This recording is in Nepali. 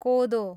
कोदो